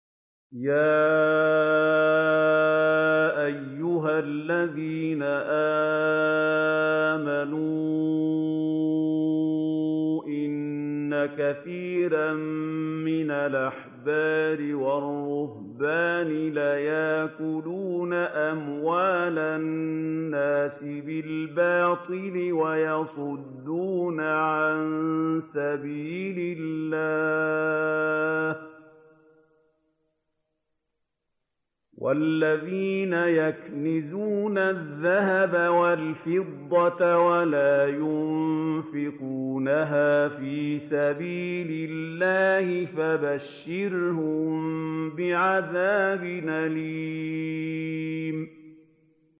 ۞ يَا أَيُّهَا الَّذِينَ آمَنُوا إِنَّ كَثِيرًا مِّنَ الْأَحْبَارِ وَالرُّهْبَانِ لَيَأْكُلُونَ أَمْوَالَ النَّاسِ بِالْبَاطِلِ وَيَصُدُّونَ عَن سَبِيلِ اللَّهِ ۗ وَالَّذِينَ يَكْنِزُونَ الذَّهَبَ وَالْفِضَّةَ وَلَا يُنفِقُونَهَا فِي سَبِيلِ اللَّهِ فَبَشِّرْهُم بِعَذَابٍ أَلِيمٍ